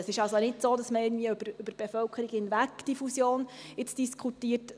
Es ist also nicht so, dass man diese Fusion jetzt irgendwie über die Bevölkerung hinweg diskutiert.